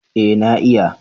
Eh na iya